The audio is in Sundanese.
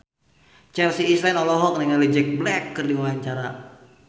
Chelsea Islan olohok ningali Jack Black keur diwawancara